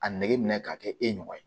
A nege minɛ k'a kɛ e ɲɔgɔn ye